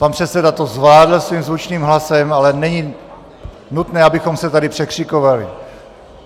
Pan předseda to zvládl svým zvučným hlasem, ale není nutné, abychom se tady překřikovali.